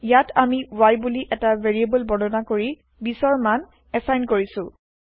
ইয়াত আমি y বুলি এটা ভেৰিয়েব্ল বৰ্ণনা কৰি ২০ ৰ মান এচাইন কৰিছো